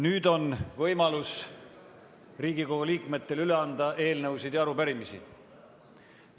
Nüüd on Riigikogu liikmetel võimalus anda üle eelnõusid ja arupärimisi.